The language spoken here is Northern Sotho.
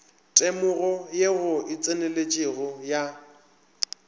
temogo ye e tseneletšego ya